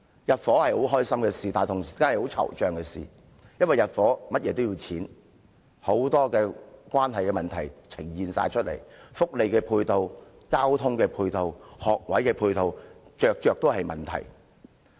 入伙是令人快樂的事，同時也是令人惆悵，因為入伙需要花費很多錢，還牽涉很多問題，包括福利、交通及學位配套問題等。